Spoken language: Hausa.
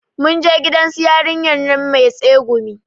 Mun je gidan su yarinyar nan mai tsegumi